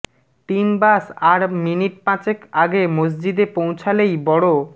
team bus আর minute পাঁচেক আগে মসজিদে পৌঁছালেই বড়